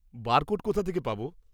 Barcode কোথা থেকে পাব?